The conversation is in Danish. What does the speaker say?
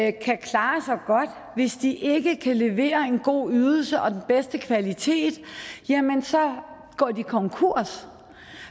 ikke kan klare sig godt hvis de ikke kan levere en god ydelse og den bedste kvalitet jamen så går de konkurs